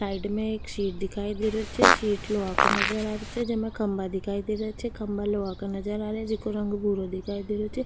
Side में एक shed दिखाई दे रो छे शेड लोहा को नजर आ रो छे जेमे खम्भा दिखाई दे रो छे खम्भा लोहा का नजर आ रेहा जेको रंग भूरो दिखाई दे रो छे।